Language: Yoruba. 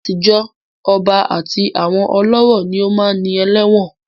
Látijọ́, ọba àti àwọn ọlọ́rọ̀ ni ó máá ń ní ẹlẹ́wọ̀n